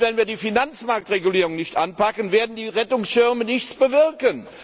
Wenn wir die Finanzmarktregulierung nicht anpacken, werden die Rettungsschirme nichts bewirken.